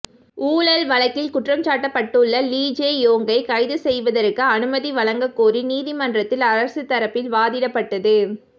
ஊழல் வழக்கில் குற்றம்சாட்டப்பட்டுள்ள லீ ஜே யோங்கை கைது செய்யவதற்கு அனுமதி வழங்கக் கோரி நீதிமன்றத்தில் அரசு தரப்பில் வாதிடப்பட்டது